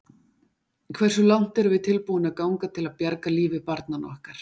Hversu langt erum við tilbúin að ganga til að bjarga lífi barnanna okkar?